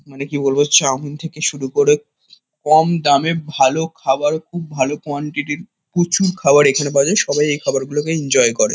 মানে কি বলবো চাউমিন থেকে শুরু করে কম দামে ভালো খাবার খুব ভালো কোয়ান্টিটি -র প্রচুর খাবার এখানে পাওয়া যায়। সবাই এই খাবারগুলোকে এনজয় করে।